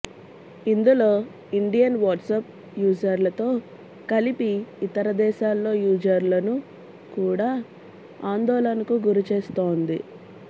ఇందులో Indian WhatsApp యూజర్లతో కలిపి ఇతర దేశాల్లో యూజర్లను కూడా ఆందోళనకు గురిచేస్తోంది